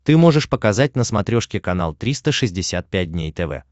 ты можешь показать на смотрешке канал триста шестьдесят пять дней тв